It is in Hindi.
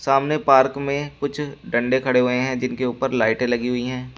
सामने पार्क में कुछ डंडे खड़े हुए हैं।